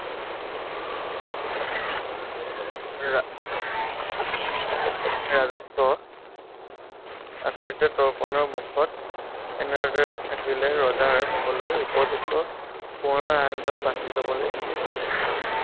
ৰাজত্ব এনেদৰে থাকিলে, ৰজাৰ হ'বলৈ উপযুক্ত কোঁৱৰৰ লবলে